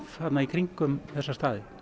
í kringum þessa staði